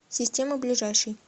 система ближайший